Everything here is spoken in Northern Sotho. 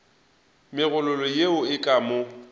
megololo yeo e ka mo